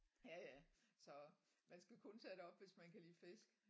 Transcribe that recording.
Ja ja så man skal kun tage derop hvis man kan lide fisk